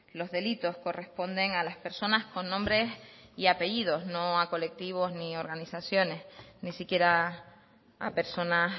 los delitos corresponden a las personas con nombres y apellidos no a colectivos ni a organizaciones ni siquiera a personas